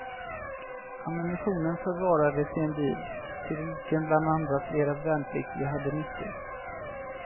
Ammunitionen förvarades i en bil, till vilken bland andra flera värnpliktiga hade nyckel.